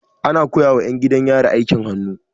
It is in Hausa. Ana koya ma 'yan gidan yari aikin hannu.